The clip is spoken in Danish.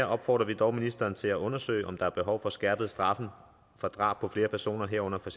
opfordrer vi dog ministeren til at undersøge om der er behov for skærpede straffe for drab på flere personer herunder for